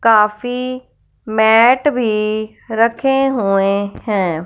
काफी मैट भी रखे हुए हैं।